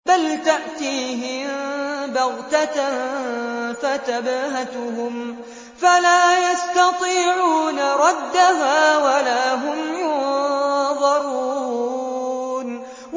بَلْ تَأْتِيهِم بَغْتَةً فَتَبْهَتُهُمْ فَلَا يَسْتَطِيعُونَ رَدَّهَا وَلَا هُمْ يُنظَرُونَ